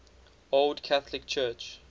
old catholic church